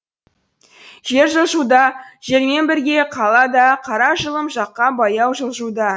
жер жылжуда жермен бірге қала да қара жылым жаққа баяу жылжуда